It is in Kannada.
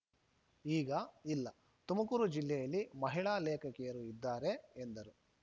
ಈಗ ಇಲ್ಲ ತುಮಕೂರು ಜಿಲ್ಲೆಯಲ್ಲಿ ಮಹಿಳಾ ಲೇಖಕಿಯರು ಇದ್ದಾರೆ ಎಂದರು